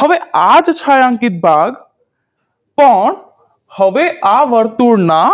હવે આ જ છાંયાંકીત ભાગ પણ હવે આ વર્તુળના